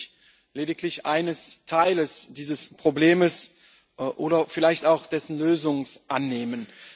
Ich werde mich lediglich eines Teils dieses Problems oder vielleicht auch dessen Lösung annehmen.